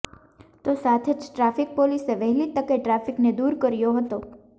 તો સાથે જ ટ્રાફિક પોલીસે વહેલી તકે ટ્રાફિકને દૂર કર્યો હતો